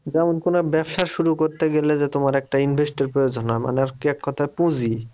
যেমন কোনো ব্যবসা শুরু করতে গেলে যে তোমার একটা invest এর প্রয়োজন হয় মানে আরকি এক কথায় পুঁজি।